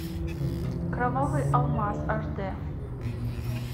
кровавый алмаз аш дэ